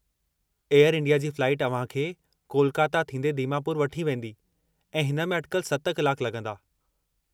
Air India जी flight अव्हां खे कोलकाता थींदे दीमापुर वठी वेंदी ऐं हिन में अटिकल 7 कलाक लॻंदा।